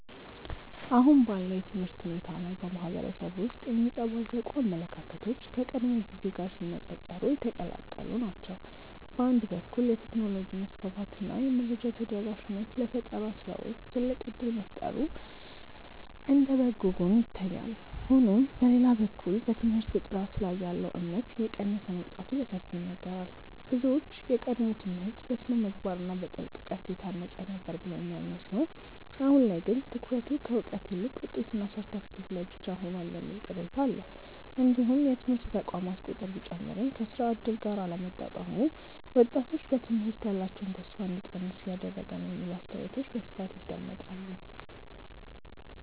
አሁን ባለው የትምህርት ሁኔታ ላይ በማህበረሰቡ ውስጥ የሚንጸባረቁ አመለካከቶች ከቀድሞው ጊዜ ጋር ሲነፃፀሩ የተቀላቀሉ ናቸው። በአንድ በኩል የቴክኖሎጂ መስፋፋት እና የመረጃ ተደራሽነት ለፈጠራ ስራዎች ትልቅ እድል መፍጠሩ እንደ በጎ ጎን ይታያል። ሆኖም በሌላ በኩል በትምህርት ጥራት ላይ ያለው እምነት እየቀነሰ መምጣቱ በሰፊው ይነገራል። ብዙዎች የቀድሞው ትምህርት በስነ-ምግባር እና በጥልቅ እውቀት የታነጸ ነበር ብለው የሚያምኑ ሲሆን አሁን ላይ ግን ትኩረቱ ከእውቀት ይልቅ ውጤትና ሰርተፍኬት ላይ ብቻ ሆኗል የሚል ቅሬታ አለ። እንዲሁም የትምህርት ተቋማት ቁጥር ቢጨምርም ከስራ እድል ጋር አለመጣጣሙ ወጣቶች በትምህርት ላይ ያላቸውን ተስፋ እንዲቀንሱ እያደረገ ነው የሚሉ አስተያየቶች በስፋት ይደመጣሉ።